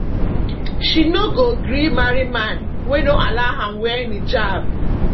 she no go gree marry man wey no allow am wear niqab